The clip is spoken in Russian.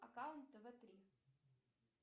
аккаунт тв три